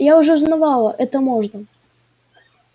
я уже узнавала это можно